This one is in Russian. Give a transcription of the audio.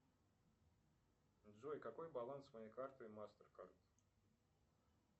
джой какой баланс моей карты мастеркард